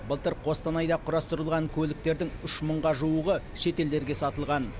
былтыр қостанайда құрастырылған көліктердің үш мыңға жуығы шетелдерге сатылған